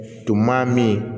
Tun ma min